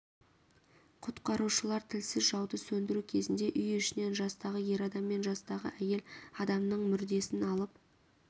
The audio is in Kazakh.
құтқарушылар тілсіз жауды сөндіру кезінде үй ішінен жастағы ер адам мен жастағы әйел адамның мүрдесін алып